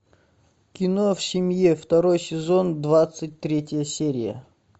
кино в семье второй сезон двадцать третья серия